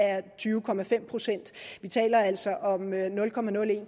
tyve procent vi taler altså om nul